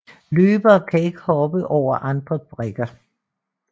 Løbere kan ikke hoppe over andre brikker